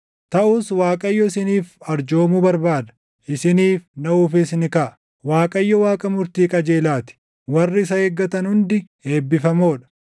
Taʼus Waaqayyo isiniif arjoomuu barbaada; isiniif naʼuufis ni kaʼa: Waaqayyo Waaqa murtii qajeelaa ti. Warri isa eeggatan hundi eebbifamoo dha.